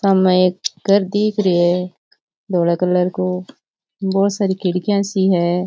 सामे एक घर दिख रे है धोला कलर को बहुत सारी खिड़किया सी है।